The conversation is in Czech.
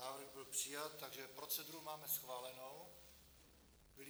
Návrh byl přijat, takže proceduru máme schválenou.